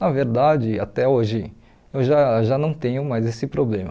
Na verdade, até hoje, eu já já não tenho mais esse problema.